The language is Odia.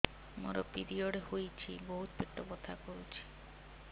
ମୋର ପିରିଅଡ଼ ହୋଇଛି ବହୁତ ପେଟ ବଥା କରୁଛି